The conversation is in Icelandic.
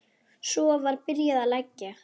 Svo var byrjað að leggja.